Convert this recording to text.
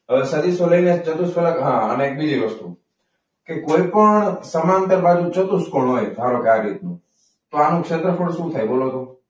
હવે સદીશોને ચતુષ્ફલક અને હા એક બીજી વસ્તુ કે, કોઈપણ સમાંતર બાજુ ચતુષ્કોણ હોય. ધારો કે આવી રીતનું તો આનું ક્ષેત્રફળ શું થાય? બોલો તો.